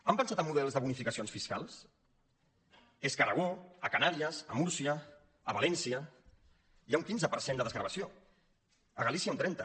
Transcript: han pensat en models de bonificacions fiscals és que a aragó a les canàries a múrcia a valència hi ha un quinze per cent de desgravació a galícia un trenta